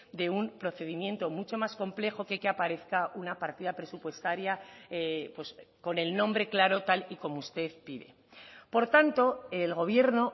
de un procedimiento mucho más complejo que aparezca una partida presupuestaria pues con el nombre claro tal y como usted pide por tanto el gobierno